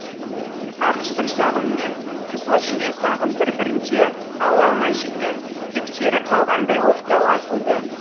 ақ сұр сағым мен қызыл жирен сағым бір бірінде ала алмай жүрген кектері қалғандай оқтай атылды